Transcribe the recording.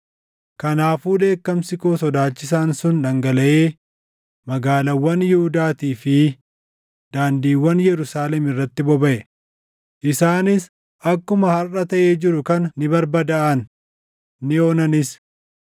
Kanaafuu dheekkamsi koo sodaachisaan sun dhangalaʼee magaalaawwan Yihuudaatii fi daandiiwwan Yerusaalem irratti bobaʼe; isaanis akkuma harʼa taʼee jiru kana ni barbadaaʼan; ni onanis.